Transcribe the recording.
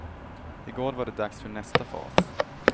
I går var det dags för nästa fas.